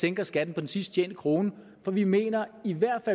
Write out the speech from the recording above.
sænker skatten på den sidst tjente krone for vi mener i hvert